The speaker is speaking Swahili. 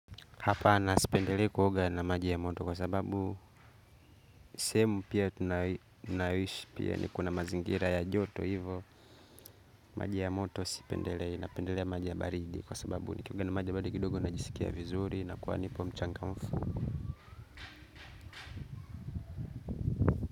Hapa nasipendele kuhoga na maji ya moto kwa sababu sehemu pia tunaowishi pia ni kuna mazingira ya joto hivo. Maji ya moto sipendele napendele maji ya baridi kwa sababu nikioga na maji ya baridi kidogo najisikia vizuri na kuwa nipo mchangamfu.